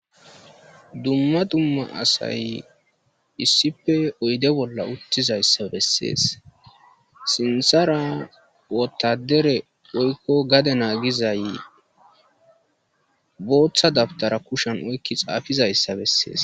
dumma dumma asay issife oyde bolla uttizayssa bessees sinthara wotadere woykko gade naagizay booththa dabitara kushan oykki xaafizayssa bessees